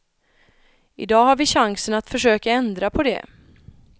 I dag har vi chansen att försöka ändra på det.